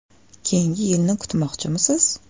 Keyingi yilni kutmoqchimisiz?